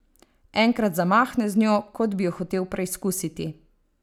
Enkrat zamahne z njo, kot bi jo hotel preizkusiti.